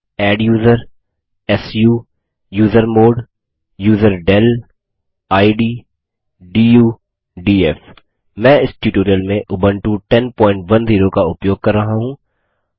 adduser su user mod user del id du DF मैं इस tutorial में उबंटू 1010 का उपयोग कर रहा हूँ